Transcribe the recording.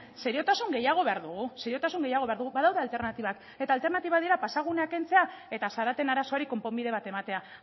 seriotasun gehiago behar dugu seriotasun gehiago behar dugu badaude alternatibak eta alternatibak dira pasagunea kentzea eta zaraten arazoari konponbide bat ematea